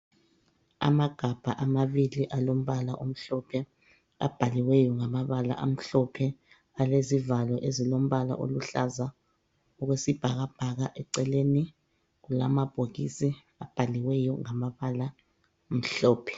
Amagabha amabili alombala omhlophe abhaliweyo ngamabala amhlophe alezivalo ezilombala oluhlaza okwesibhakabhaka eceleni kulamabhokisi abhaliweyo ngamabala amhlophe